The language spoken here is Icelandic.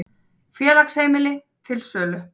Félagsheimili til sölu